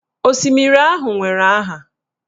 Osimiri ahụ nwere aha.